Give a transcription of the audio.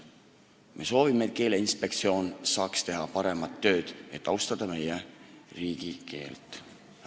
Me soovime, et Keeleinspektsioon saaks teha paremat tööd, et meie riigikeele eest hoolitseda.